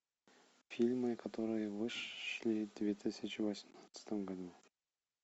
фильмы которые вышли в две тысячи восемнадцатом году